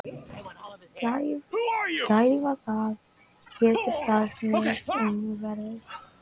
Gæfa, hvað geturðu sagt mér um veðrið?